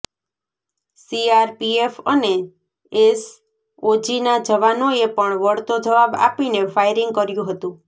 CRPF અને એસઓજીના જવાનોએ પણ વળતો જવાબ આપીને ફાયરિંગ કર્યું હતું